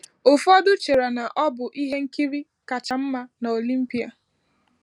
Ụfọdụ chere na ọ bụ “ihe nkiri kacha mma n’Olimpia.”